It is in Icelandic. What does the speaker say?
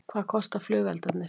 Hvað kosta flugeldarnir